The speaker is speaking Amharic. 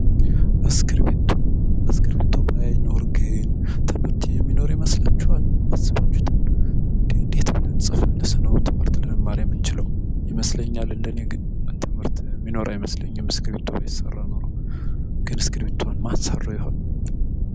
እስክርቢቶ ትምህርት የሚኖር ይመስላችኋል አስቡት እስኪ እንዴት ነበር እስክርቢቶ ባይኖር ይመስለኛል እንደኔ ግን ትምህርት የሚኖር አይመስለኝም።